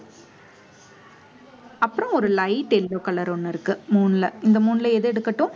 அப்புறம் ஒரு light yellow color ஒண்ணு இருக்கு மூணுல இந்த மூணுல எது எடுக்கட்டும்